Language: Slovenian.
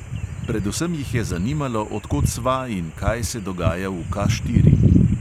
Predvsem jih je zanimalo, od kod sva in kaj se dogaja v K štiri.